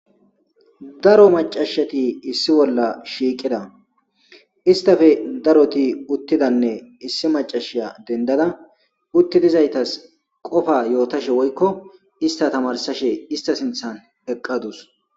daro macashati issi bolla shiiqida istafe daroti uttidanne issi macasha dendada uttidizaytas qofa yootashe woykko ista tamarsashe ista sinthan heqqadus